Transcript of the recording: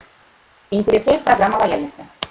интересует программа лояльности